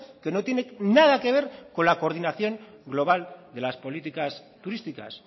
que no tiene nada que ver con la coordinación global de las políticas turísticas